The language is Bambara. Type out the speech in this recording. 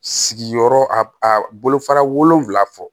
Sigiyɔrɔ a bolo fara wolonfila fɔ